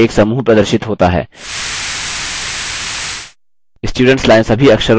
students line सभी अक्षरों से साफ़ है और खाली है